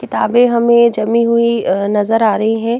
किताबें हमें जमी हुई नजर आ रही हैं।